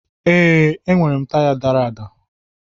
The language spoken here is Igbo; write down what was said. Ee, enwere m taya dara ada